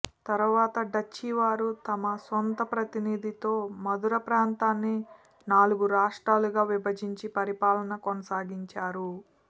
తరువాత డచ్చి వారు తమ సొంత ప్రతినిధితో మదురప్రాంతాన్ని నాలుగు రాష్ట్రాలుగా విభజించి పరిపాలనా కొనసాగించారు